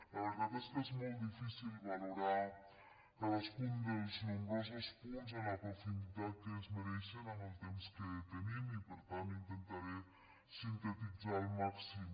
la veritat és que és molt difícil valorar cadascun dels nombrosos punts amb la profunditat que es mereixen amb el temps que tenim i per tant intentaré sintetitzar al màxim